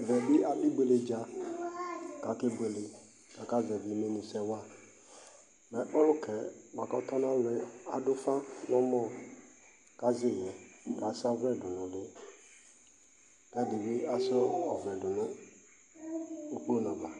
Ɛvɛ bi adʋ ibueledza kʋ akekele, kakazɛvi imɛnusɛ wa Ɔlʋkɛ bua kʋ ɔtɔla lɔ ɛ, adʋ ʋfa nɛ mɔ kʋ azɛ iɣɛ, kʋ asa ɔvlɛ dʋ nʋ ʋli kʋ ɛdi bi asa ɔvlɛ dʋ nʋ ukponʋ ava,